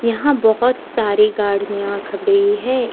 यहा बहोत सारी गाड़ियां खबड़ी है।